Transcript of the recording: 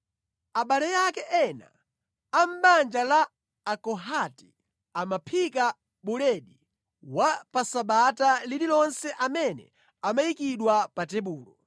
Abale ake ena a mʼbanja la Akohati amaphika buledi wa pa Sabata lililonse amene amayikidwa pa tebulo.